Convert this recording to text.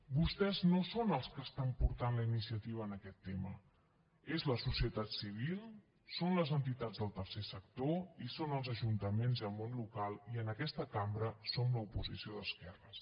vostès no són els que estan portant la iniciativa en aquest tema és la societat civil són les entitats del tercer sector i són els ajuntaments i el món local i en aquesta cambra som l’oposició d’esquerres